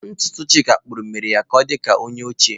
Ntutu Chika kpuru mere ka o di ka onye ochie.